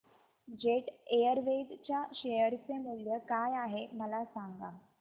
jet Airways च्या share चे मूल्य काय आहे मला सांगा